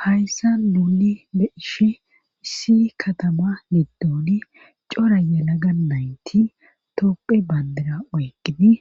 Hayssa nuuli be'ishe si katama middooni coraye na ga naynti topphe bandira oygini